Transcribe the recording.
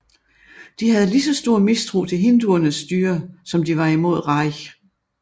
De havde lige så stor mistro til hinduernes styre som de var imod Raj